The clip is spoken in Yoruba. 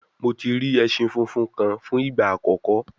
Mo ti ri ẹṣin funfun kan fun igba akọkọ